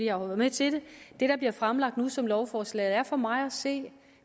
har været med til det der bliver fremsat nu som lovforslag er for mig at se